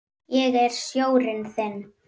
Ég er sjórinn þinn.